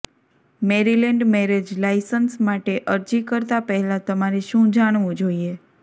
Maryland marriage license માટે અરજી કરતાં પહેલાં તમારે શું જાણવું જોઇએ